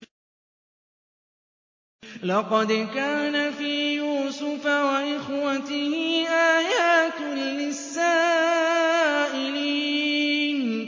۞ لَّقَدْ كَانَ فِي يُوسُفَ وَإِخْوَتِهِ آيَاتٌ لِّلسَّائِلِينَ